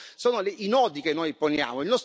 Questi sono i nodi che noi poniamo.